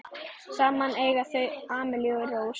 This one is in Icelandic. Saman eiga þau Amelíu Rós.